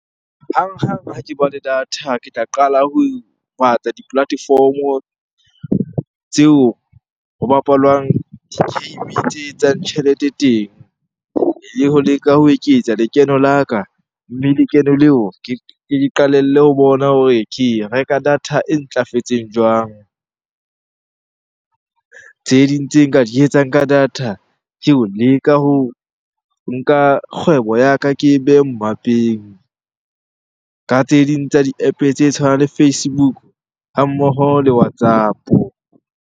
Hanghang ha ke bua le data, ke tla qala ho batla di-platform-o tseo ho bapalwang di-game tse etsang tjhelete teng. Le ho leka ho eketsa lekeno la ka, mme lekeno leo ke qalelle ho bona hore ke reka data e ntlafetseng jwang? Tse ding tse nka di etsang ka data, ke ho leka ho nka kgwebo ya ka ke e behe mmapeng. Ka tse ding tsa di-App tse tshwanang le Facebook, ha mmoho le WhatsApp-o.